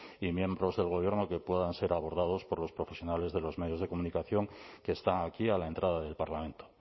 y miembros del gobierno que puedan ser abordados por los profesionales de los medios de comunicación que están aquí a la entrada del parlamento